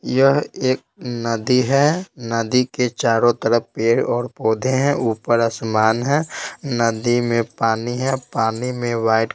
यह एक नदी है नदी के चारों तरफ पेड़ और पौधे हैं ऊपर आसमान है नदी में पानी है पानी में वाइट --